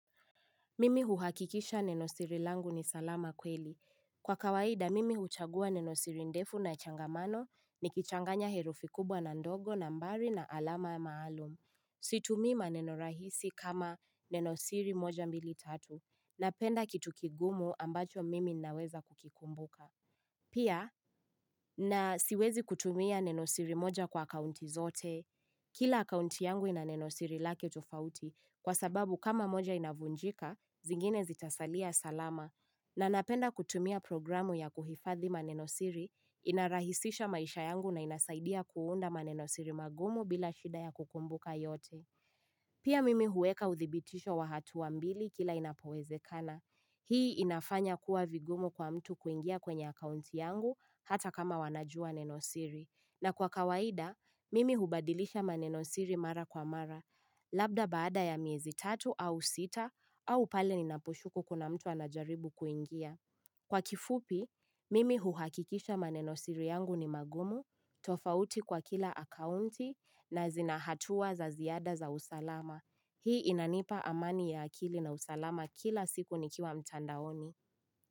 Mimi huhakikisha nenosiri langu ni salama kweli. Kwa kawaida, mimi huchagua nenosiri ndefu na changamano ni kichanganya herufi kubwa na ndogo na mbari na alama ya maalum. Si tumii maneno rahisi kama nenosiri moja mbili tatu. Napenda kitukigumu ambacho mimi ninaweza kukikumbuka. Pia na siwezi kutumia nenosiri moja kwa kaunti zote. Kila akaunti yangu inanenosiri lake utofauti kwa sababu kama moja inavunjika, zingine zitasalia salama na napenda kutumia programu ya kuhifadhi manenosiri inarahisisha maisha yangu na inasaidia kuunda manenosiri magumu bila shida ya kukumbuka yote. Pia mimi huweka uthibitisho wa hatu wa mbili kila inapowezekana. Hii inafanya kuwa vigumu kwa mtu kuingia kwenye akaunti yangu hata kama wanajua nenosiri. Na kwa kawaida, mimi hubadilisha manenosiri mara kwa mara. Labda baada ya miezi tatu au sita au pale ninaposhuku kuna mtu anajaribu kuingia. Kwa kifupi, mimi huhakikisha manenosiri yangu ni magumu, tofauti kwa kila akaunti na zinahatua za ziada za usalama. Hii inanipa amani ya akili na usalama kila siku nikiwa mtandaoni.